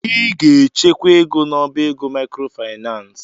Ị ga-echekwa ego n'ọbá ego maịkrofaịnans!